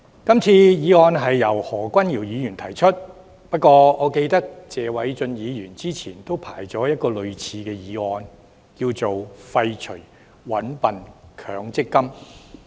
這項議案由何君堯議員提出，不過我記得，謝偉俊議員早前也申請提出類似議案，題為"廢除'搵笨'強積金"。